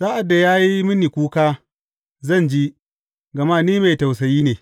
Sa’ad da ya yi mini kuka, zan ji, gama ni mai tausayi ne.